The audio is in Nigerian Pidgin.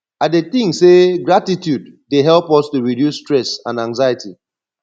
i dey think say gratitude dey help us to reduce stress and anxiety